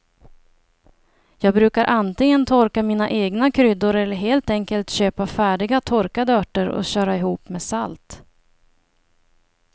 Jag brukar antingen torka mina egna kryddor eller helt enkelt köpa färdiga torkade örter och köra ihop med salt.